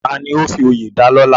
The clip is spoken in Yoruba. Tani ó fi oyè dalọ́lá?